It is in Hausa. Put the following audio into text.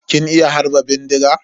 Kin iya harba bindiga?